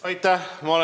Aitäh!